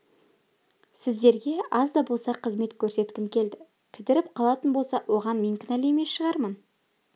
сіздерге аз да болса қызмет көрсеткім келді кідіріп қалатын болса оған мен кінәлі емес шығармын